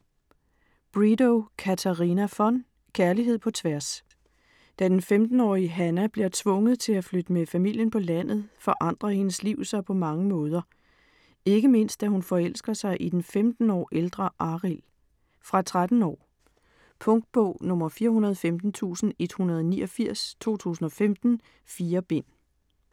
Bredow, Katarina von: Kærlighed på tværs Da den 15-årige Hanna bliver tvunget til at flytte med familien på landet, forandrer hendes liv sig på mange måder. Ikke mindst da hun forelsker sig i den 15 år ældre Arild. Fra 13 år. Punktbog 415189 2015. 4 bind.